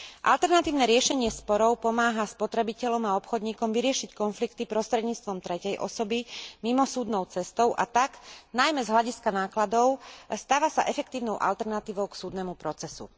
Alternatívne riešenie sporov pomáha spotrebiteľom a obchodníkom vyriešiť konflikty prostredníctvom tretej osoby mimosúdnou cestou, a tak, najmä z hľadiska nákladov, stáva sa efektívnou alternatívou k súdnemu procesu.